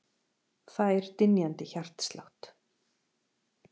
Fær dynjandi hjartslátt.